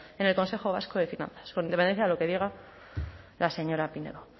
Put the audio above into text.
en el consejo vasco de finanzas con independencia de lo que diga la señora pinedo